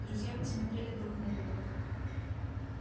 друзья посмотрели друг на друга